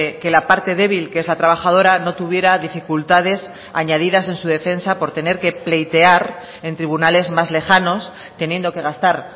que la parte débil que es la trabajadora no tuviera dificultades añadidas en su defensa por tener que pleitear en tribunales más lejanos teniendo que gastar